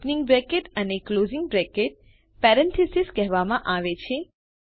opening bracket અને closing બ્રેકેટને parenthesis કહેવામાં આવે છે